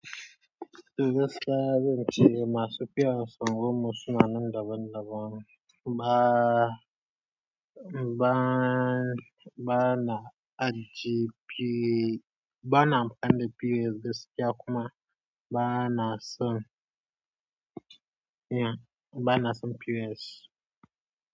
E gaskiya zance masu POS a unguwanmu suna nan daban daban ba, ba, ba na aji P, ba na amfani da POS gaskiya kuma ba na son ba na son POS.